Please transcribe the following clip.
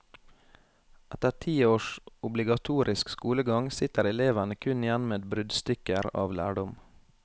Etter ti års obligatorisk skolegang sitter elevene kun igjen med bruddstykker av lærdom.